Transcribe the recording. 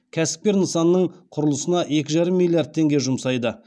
кәсіпкер нысанның құрылысына екі жарым миллиард теңге жұмсайды